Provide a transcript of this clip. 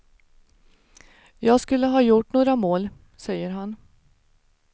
Jag skulle ha gjort några mål, säger han.